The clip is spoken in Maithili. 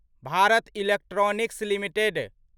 Bharat electronics limited